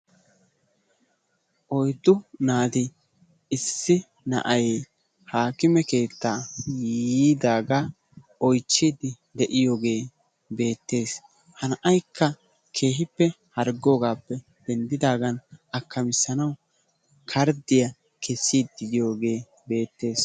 Oyddu naati naati issi naati haakime keettaa yiidaagaa oychchiidi de'iyoogee beettees. Ha na'aykka keehippe harggoogappe denddidaagan akkamisanawu karddiyaa keesiidi diyoogee beettees.